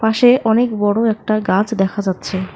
পাশে অনেক বড় একটা গাছ দেখা যাচ্ছে।